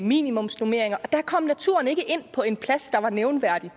minimumsnormeringer og der kom naturen ikke ind på en plads der var nævneværdig